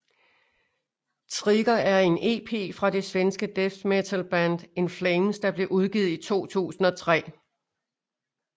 Trigger er en EP fra det svenske death metalband In Flames der blev udgivet i 2003